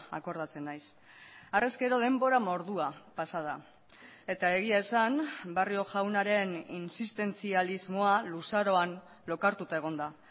akordatzen naiz harrezkero denbora mordoa pasa da eta egia esan barrio jaunaren insistentzialismoa luzaroan lokartuta egon da